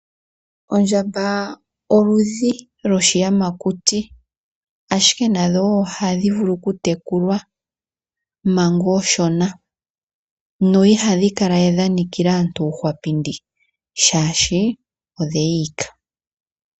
Ondjamba oludhi lwoshiyamakuti, ashike nadho wo ohadhi vulu okutekulwa manga oonshona no ihadhi kala we dha nikila aantu uuhwapindi, shaashi odhe yi ika.